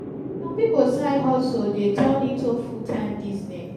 some pipo side hustle de turn into full time business